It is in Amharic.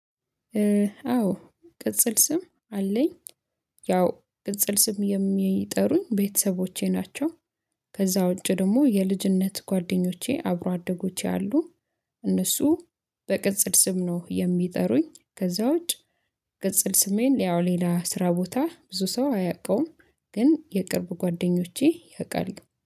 አዎ ቅጽል ስም አለኝ። ያው ቅጽል ስም የሚጠሩኝ ቤተሰቦቼ ናቸው። ከዛ ውጪ ደግሞ የልጅነት ጓደኞቼ አብሮ አደጎቼ አሉ። እነሱ በቅጽል ስም ነው የሚጠሩኝ ከዛ ውጭ። ቅጽል ስሜን ያው ሌላ ስራ ቦታ ብዙ ሰው አያውቀውም። ግን የቅርብ ጓደኞቼ ያውቃሉ